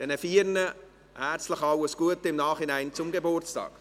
Diesen vier im Nachhinein herzlich alles Gute zum Geburtstag.